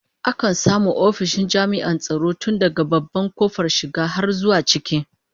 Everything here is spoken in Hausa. Akan samu ofishin jami'an tsaro tun daga babban kofar shiga har zuwa ciki